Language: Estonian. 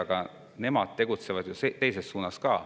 Aga nemad tegutsevad ju ka teises suunas.